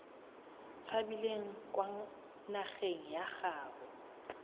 tshabileng kwa nageng ya gaabo